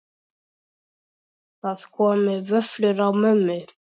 Það komu vöflur á mömmu.